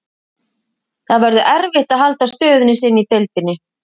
Það verður erfitt að halda stöðu sinni í deildinni.